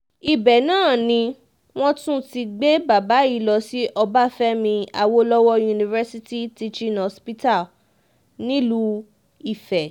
ibẹ̀ náà ni wọ́n ti tún gbé bàbá yìí lọ sí ọbáfẹ́mi awolowo university teaching hospital nílùú ife